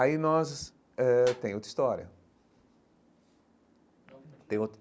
Aí nós... Eh tem outra história tem outra.